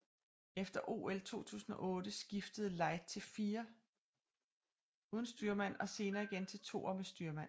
Efter OL 2008 skiftede Light til firer uden styrmand og senere igen til toer med styrmand